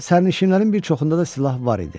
Sərnişinlərin bir çoxunda da silah var idi.